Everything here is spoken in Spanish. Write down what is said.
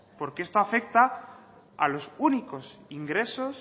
porque esto afecta a los únicos ingresos